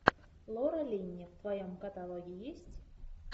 лора линни в твоем каталоге есть